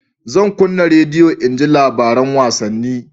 Zan kunna rediyo in ji labarin wasanni